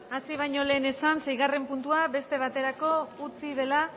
hasi baino lehen esan seigarren puntua beste baterako utzi dela